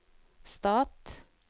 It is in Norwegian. stat